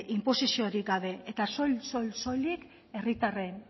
inposiziorik gabe eta soil soil soilik herritarren